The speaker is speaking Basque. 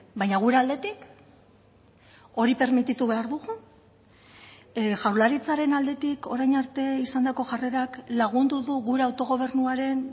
baina gure aldetik hori permititu behar dugu jaurlaritzaren aldetik orain arte izandako jarrerak lagundu du gure autogobernuaren